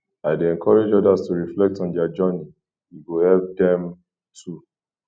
i dey encourage others to reflect on their journey e go help dem too